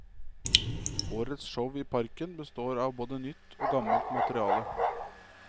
Årets show i parken består av både nytt og gammelt materiale.